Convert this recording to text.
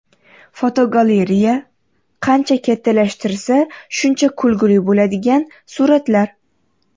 Fotogalereya: Qancha kattalashtirsa, shuncha kulgili bo‘ladigan suratlar.